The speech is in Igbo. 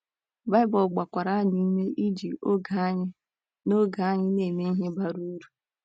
Baịbụl gbakwara anyị ume iji oge anyị na oge anyị na - eme ihe bara uru.